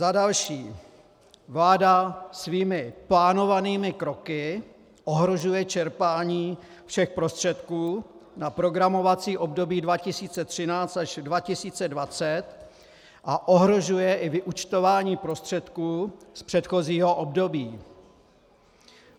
Za další, vláda svými plánovanými kroky ohrožuje čerpání všech prostředků na programovací období 2013 až 2020 a ohrožuje i vyúčtování prostředků z předchozího období.